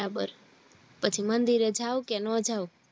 બરાબર પછી મંદિર એ જાવ કે નો જાવ